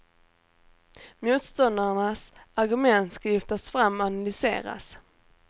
Motståndarnas argument ska lyftas fram och analyseras.